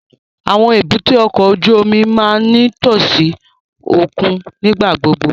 Awọn èbúté ọkọ ojú omi máa ǹ nitosi okun nigbagbogbo